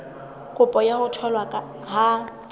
kopo ya ho tholwa ha